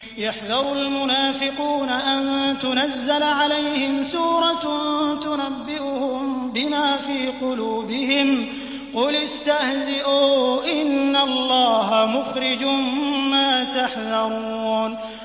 يَحْذَرُ الْمُنَافِقُونَ أَن تُنَزَّلَ عَلَيْهِمْ سُورَةٌ تُنَبِّئُهُم بِمَا فِي قُلُوبِهِمْ ۚ قُلِ اسْتَهْزِئُوا إِنَّ اللَّهَ مُخْرِجٌ مَّا تَحْذَرُونَ